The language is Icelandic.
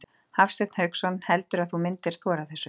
Hafsteinn Hauksson: Heldurðu að þú myndir þora þessu?